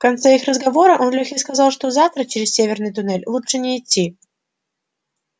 в конце их разговора он лёхе сказал что завтра через северный туннель лучше не идти